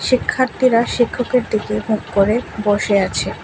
শিক্ষার্থীরা শিক্ষকের দিকে মুখ করে বসে আছে।